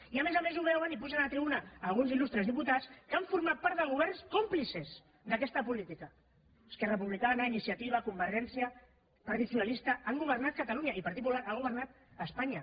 i a més a més ho veuen i pugen a la tribuna alguns il·lustres diputats que han format part de governs còmplices d’aquesta política esquerra republicana iniciativa convergència i partit socialista han governat catalunya i el partit popular ha governat espanya